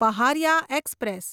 Paharia express